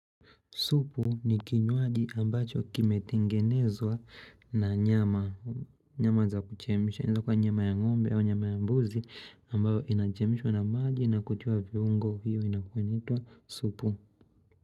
Supu ni kinywaji ambacho kimetengenezwa na nyama za kuchemsha. Inaweza kuwa nyama ya ngombe au nyama ya mbuzi ambayo inachemishwa na maji na kutoa viungo hiyo inakua inaitwa supu.